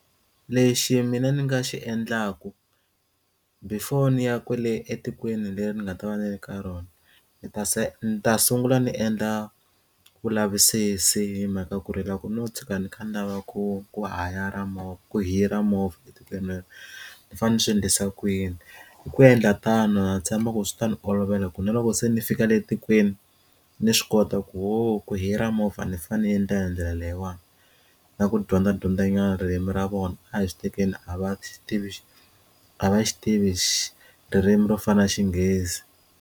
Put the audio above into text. Lexi mina ni nga xi endlaku before ni ya kwale etikweni leri ni nga ta va ni le ka rona ndzi ta se ni ta sungula ni endla vulavisisi hi mhaka ku ri loko no tshuka ni kha ni lava ku ku hayara movha ku hira movha etikweni leri ni fanele ni swi endlisa kuyini hi ku endla tano na tshemba ku swi ta ni olovela ku na loko se ni fika le etikweni ni swi kota ku ku hira movha ni fane ni endlela hi ndlela leyiwani na ku dyondza dyondza nyana ririmi ra vona a hi swi tekeni a va xi tivi a va swi tivi xi ririmi ro fana na Xinghezi.